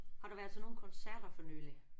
Har du været til nogle koncerter for nylig?